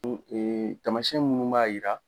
taamasiyɛn minnu b'a jira